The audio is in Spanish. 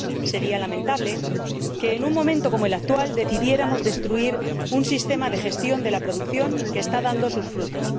sería lamentable que, en un momento como el actual, decidiéramos destruir un sistema de gestión de la producción que está dando sus frutos.